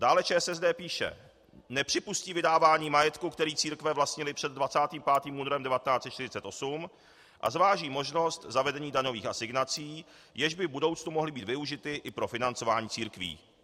Dále ČSSD píše: "Nepřipustí vydávání majetku, který církve vlastnily před 25. únorem 1948, a zváží možnost zavedení daňových asignací, jež by v budoucnu mohly být využity i pro financování církví."